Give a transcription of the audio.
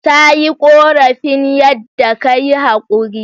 Ta yi korafin yadda ka yi haquri.